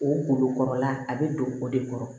O kungolo kɔrɔla a bɛ don o de kɔrɔ